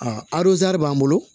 A b'an bolo